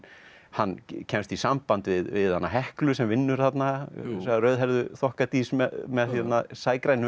hann kemst í samband við hana Heklu sem vinnur þarna þessa rauðhærðu þokkadís með